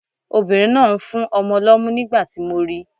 Obìnrin náà ń fún ọmọ lọ́mú nígbà tí mo ri.